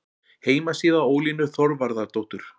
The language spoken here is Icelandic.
Heimasíða Ólínu Þorvarðardóttur